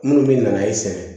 Minnu bɛ na e sɛgɛn